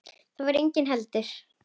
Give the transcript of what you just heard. Þar var enginn heldur.